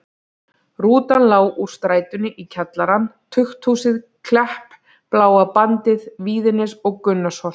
Rútan lá úr strætinu í kjallarann, tukthúsið, Klepp, Bláa bandið, Víðines og Gunnarsholt.